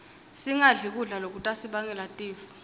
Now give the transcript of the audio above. singadli kudla lokutasibangela tifo